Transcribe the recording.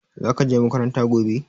Zaka je makaranta gobe?